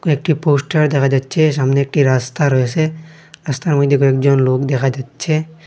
একটি পোস্টার দেখা যাচ্ছে সামনে একটি রাস্তা রয়েসে রাস্তার মইধ্যে কয়েকজন লোক দেখা যাচ্ছে।